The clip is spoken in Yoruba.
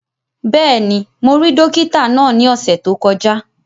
Bẹ́ẹ̀ni, mo rí dókítà náà ní ọ̀sẹ̀ tó kọjá